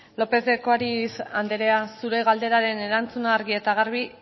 lópez de ocariz andrea zure galderaren erantzuna argi eta garbi